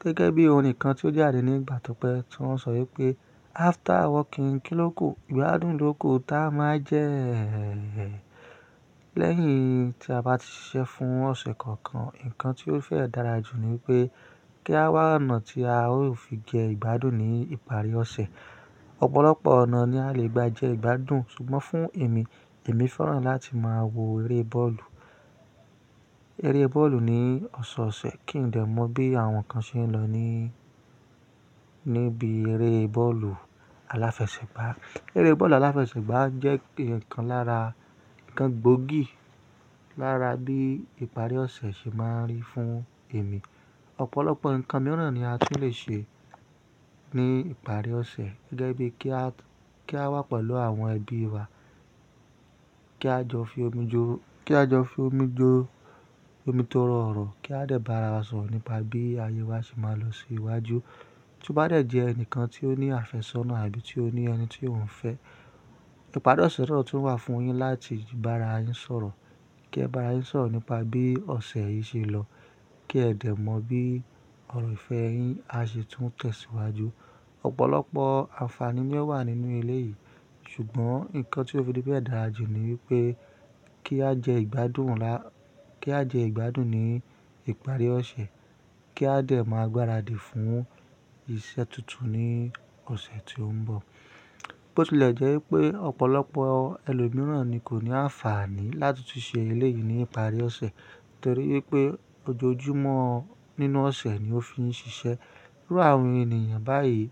Gẹ́gẹ́ bí orin kan tí ó jáde ní ìgbà tó pẹ́ tí wọ́n sọ wípé after wokin kílóku, ìgbádùn lóko táa máa jẹ́. Lẹ́yìn tí a bá ti ṣiṣẹ́ fún ọ̀sẹ̀ kan kan, nǹkan tí ó fẹ́ dára jù ni pé kí a wá ọ̀nà tí a ó fi jẹ ìgbádùn ní ìparí ọ̀sẹ̀. Ọ̀pọ̀lọpọ̀ ọ̀nà ni a lè gba jẹ́ ìgbádùn, ṣùgbọ́n fún èmi, èmi fẹ́ràn láti máa wo eré bọ́ọ̀lù. Eré bọ́ọ̀lù ní ọ̀sọ̀ọ̀sẹ̀ kí n lè mọ bí àwọn kan ṣe ń lọ ní, níbi eré bọ́ọ̀lù aláfẹsẹ̀gbá. Eré bọ́ọ̀lù aláfẹsẹ̀gbá jẹ́ ikan lára, nǹkan gbóògì lára bí ìparí ọ̀sẹ̀ ṣe máa rí fún èmi. Ọ̀pọ̀lọpọ̀ nǹkan mìíràn ni a tún lè ṣe ní ìparí ọ̀sẹ̀, gẹ́gẹ́ bí kí a, kí a wá pẹ̀lú àwọn ẹbí wa, kí a jọ fi omi jo, kí a jọ fi omi jo omi tó rọ̀ ọ̀rọ̀, kí a dè bá ara wa sọ̀rọ̀ nípa bí ayé wa ṣe máa lọ sí iwájú. Tí o bá dẹ̀ jẹ́ ẹnìkan tí ó ní àfẹ́sọ́nà àbí tí ó ní ẹni tí òun fẹ́, ìparí ọ̀sẹ̀ náà tún wà fún yín láti bá ara yín sọ̀rọ̀, kí ẹ bá ara yín sọ̀rọ̀ nípa bí ọ̀sẹ̀ yín ṣe lọ, kí ẹ dè mọ bí ọ̀rọ̀ ìfẹ́ yín á ṣe tún tẹ̀síwájú. Ọ̀pọ̀lọpọ̀ àǹfààní ni o wà nínú ilé yìí, ṣùgbọ́n nǹkan tí ó fi bẹ́ẹ̀ dára jù ni wípé kí á jẹ ìgbádùn ńlá, kí á jẹ ìgbádùn ní ìparí ọ̀sẹ̀, kí a dè máa gbáradì fún iṣẹ́ tuntun ní ọ̀sẹ̀ tí ń bọ̀. Ó ti lè jẹ́ wípé ọ̀pọ̀lọpọ̀ ẹlòmíràn ni kò ní àǹfààní láti tun ṣe ilé yìí ní ìparí ọ̀sẹ̀ nítorí wípé ojoojúmọ́ nínú ọ̀sẹ̀ ni ó fi ń ṣiṣẹ́. Irú àwọn ènìyàn báyìí